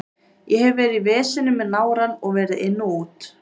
Ég hef verið í veseni með nárann og verið inn og út.